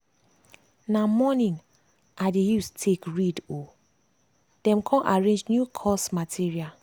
na morning i dey use take read um then come arrange new course material.